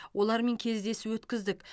олармен кездесу өткіздік